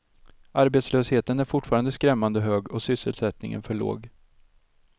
Arbetslösheten är fortfarande skrämmande hög och sysselsättningen för låg.